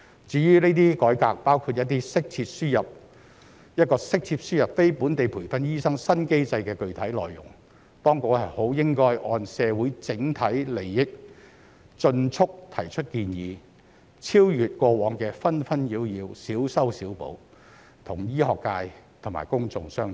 至於這些改革，包括一個適切輸入非本地培訓醫生新機制的具體內容，當局應該按社會整體利益，盡速提出建議，超越過往的紛紛擾擾、小修小補，與醫學界及公眾商討。